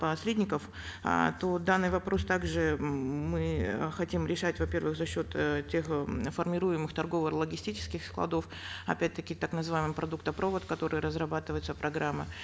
посредников э то данный вопрос также мы э хотим решать во первых за счет э тех м формируемых торгово логистических складов опять таки так называемых продуктопровод которая разрабатывается программа